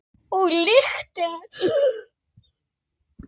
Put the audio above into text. Og lyktin.